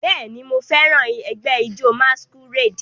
Bẹẹni, Mo fẹran ẹgbẹ ijó masquerade